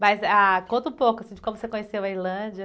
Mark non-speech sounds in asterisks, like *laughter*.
Mas, ah, conta um pouco de como você conheceu a. *unintelligible*